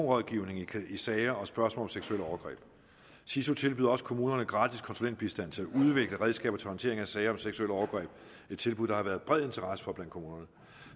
rådgivning i sager og spørgsmål om seksuelle overgreb siso tilbyder også kommunerne gratis konsulentbistand til at udvikle redskaber til håndtering af sager om seksuelle overgreb et tilbud der har været bred interesse for blandt kommunerne